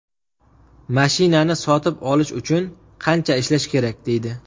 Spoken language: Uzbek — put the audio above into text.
Mashinani sotib olish uchun qancha ishlash kerak”, deydi.